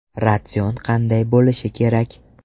Ratsion qanday bo‘lishi kerak?